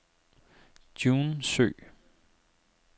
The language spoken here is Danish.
June Søe